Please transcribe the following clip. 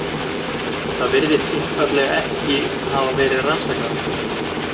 Það virðist einfaldlega ekki hafa verið rannsakað.